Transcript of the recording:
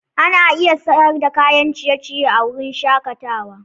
Ana iya siyar da kayan ciye-ciye a wurin shakatawa.